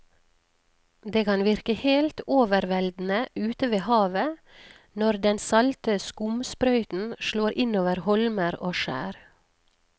Det kan virke helt overveldende ute ved havet når den salte skumsprøyten slår innover holmer og skjær.